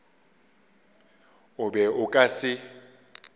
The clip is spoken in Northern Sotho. o be o ka se